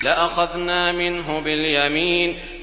لَأَخَذْنَا مِنْهُ بِالْيَمِينِ